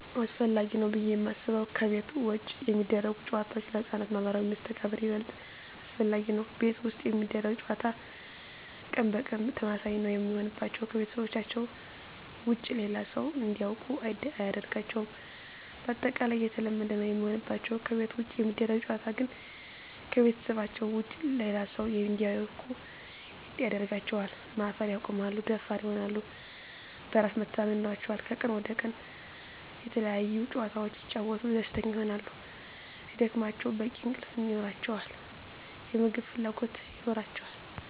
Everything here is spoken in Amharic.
አሰፈላጊ ነው ብዬ የማስበው ከቤት ውጭ የሚደረጉ ጨዋታዎች ለህፃናት ማህበራዊ መስተጋብር ይበልጥ አስፈላጊ ነው። ቤት ውስጥ የሚደረግ ጨዋታ ቀን በቀን ተመሳሳይ ነው የሚሆንባቸው , ከቤተሰባቸው ውጭ ሌላ ሰው እንዲያውቁ አያደርጋቸውም ባጠቃላይ የተለመደ ነው የሚሆንባቸው። ከቤት ውጭ የሚደረግ ጨዋታ ግን ከቤተሰባቸው ውጭ ሌላ ሰው እንዲያውቁ ያደርጋቸዋል, ማፈር ያቆማሉ, ደፋር ይሆናሉ, በራስ መተማመን ይኖራቸዋል," ከቀን ወደ ቀን የተለያዪ ጨዋታዎች ሲጫወቱ ደስተኛ ይሆናሉ ስለሚደክማቸው በቂ እንቅልፍ ይኖራቸዋል, የምግብ ፍላጎት ይኖራቸዋል።